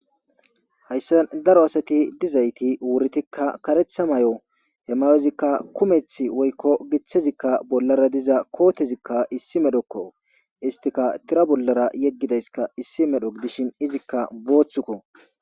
Hayssa daro asati dizayti wuridika kareththa mayo, He mayozika kumeththi wokko gitazikka bollara diza kotezika issi meroko. Esti tira bolla yegizakka issi mero gidishin izika booththiko.